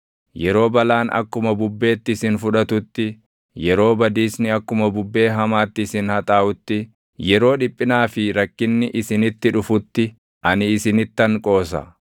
yeroo balaan akkuma bubbeetti isin fudhatutti, yeroo badiisni akkuma bubbee hamaatti isin haxaaʼutti, yeroo dhiphinaa fi rakkinni isinitti dhufutti ani isinittan qoosa.